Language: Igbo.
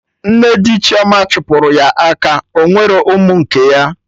Nne di Chioma chụpụrụ ya aka Ọnwerọ ụmụ nke ya